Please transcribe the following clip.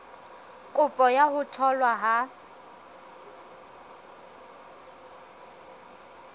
kopo ya ho tholwa ha